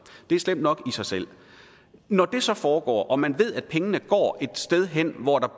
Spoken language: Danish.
det er slemt nok i sig selv når det så foregår og man ved at pengene går et sted hen hvor der